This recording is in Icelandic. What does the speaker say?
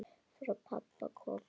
Frá pabba komið.